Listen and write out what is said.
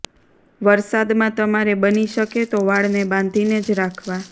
વરસાદમાં તમારે બની શકે તો વાળને બાંધીને જ રાખવા